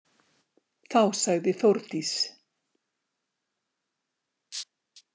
Þá sagði Þórdís: